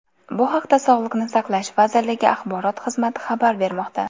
Bu haqda sog‘liqni saqlash vazirligi axborot xizmati xabar bermoqda .